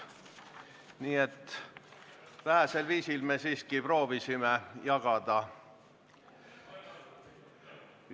Nii et vähesel määral me siiski proovisime töökoormust jagada.